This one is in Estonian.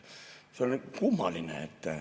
See on nii kummaline.